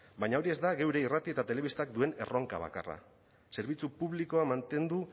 baina hori ez da geure irrati eta telebistak duen erronka bakarra zerbitzu publikoa mantendu